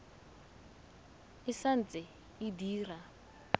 e sa ntse e dira